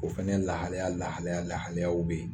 O fɛnɛ lahaliya lahaliya lahaliyaw bɛ yen.